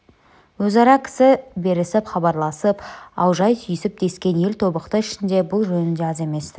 өзара кісі жіберісіп хабарласып алып аужай түйісіп дескен ел тобықты ішінде бұл жөнінде аз емес-ті